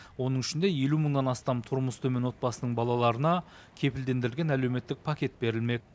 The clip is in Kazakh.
оның ішінде елу мыңнан астам тұрмысы төмен отбасының балаларына кепілдендірілген әлеуметтік пакет берілмек